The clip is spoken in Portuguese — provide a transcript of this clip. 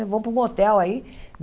Vou para um hotel aí.